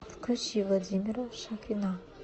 включи владимира шахрина